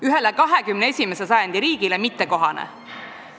Ühele 21. sajandi riigile mittekohane.